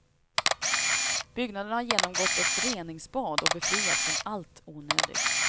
Byggnaderna har genomgått ett reningsbad och befriats från allt onödigt.